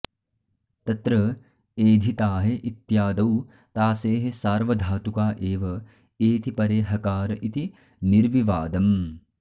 तत्र एधिताहे इत्यादौ तासेः सार्वधातुक एव एति परे हकार इति निर्विवादम्